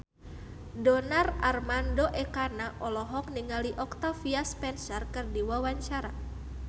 Donar Armando Ekana olohok ningali Octavia Spencer keur diwawancara